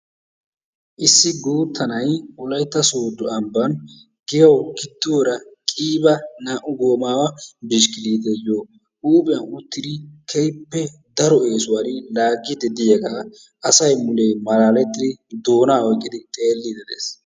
Issi guutta na'ay wolaytta soodo ambbaan giyawu gidduwaara naa"u goomawa bishikiliteeyoo huuphphiyaan uttidi keehippe daro esuwaan laaggidi diyaagaa asay mulee malaalettidi doonaa oyqqidi xeelliidi de'ees.